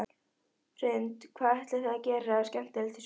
Hrund: Hvað ætlið þið að gera skemmtilegt í sumar?